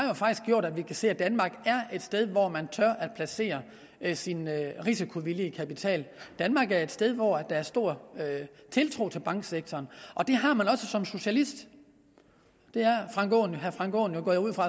gjort at vi kan se at danmark er et sted hvor man tør placere sin risikovillige kapital danmark er et sted hvor der er stor tiltro til banksektoren og den har man også som socialist det er herre frank aaen jo